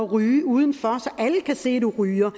ryge udenfor så alle kan se du ryger